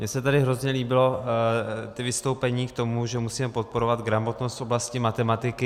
Mně se tady hrozně líbila ta vystoupení k tomu, že musíme podporovat gramotnost v oblasti matematiky.